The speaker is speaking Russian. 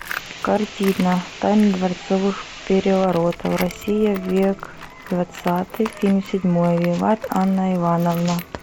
картина тайны дворцовых переворотов россия век двадцатый фильм седьмой виват анна иоанновна